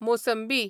मोसंबी